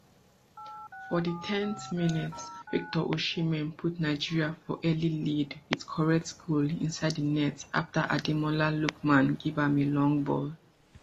for di ten th minute victor osimhen put nigeria for early lead wit correct goal inside di net afta ademola lookman give am a long ball